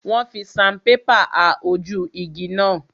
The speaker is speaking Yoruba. Wọ́n fi sanpépà ha ojú igi náà.